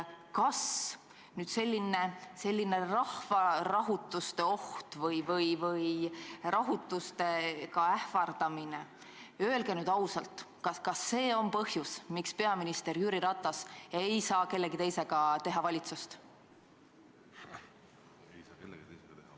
Kas selline rahvarahutuste oht või rahutustega ähvardamine – öelge nüüd ausalt, kas see on põhjus, miks peaminister Jüri Ratas ei saa kellegi teisega teha valitsust?